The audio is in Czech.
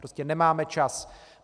Prostě nemáme čas.